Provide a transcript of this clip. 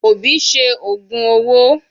Obi ṣe ògùn owó.